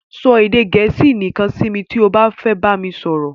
Sọ edè Gẹ̀ẹ́sì nìkan si mi ti o ba fe bami soro